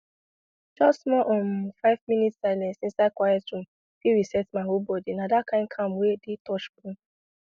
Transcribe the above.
just small um five minute silence inside quiet room fit reset my whole body na that kind calm wey dey touch bone